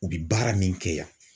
U bi baara min kɛ yan